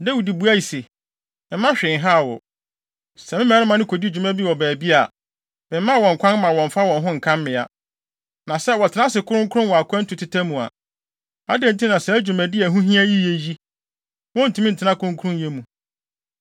Dawid buae se, “Mma hwee nhaw wo. Sɛ me mmarima no kodi dwuma bi baabi a, memmma wɔn kwan mma wɔmmfa wɔn ho nka mmea. Na sɛ wɔtena ase kronkron wɔ akwantu teta mu a, adɛn nti na saa dwumadi a ɛho hia yiye yi, wontumi ntena kronkronyɛ mu.”